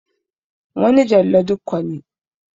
Wani Jallo Dikko ne.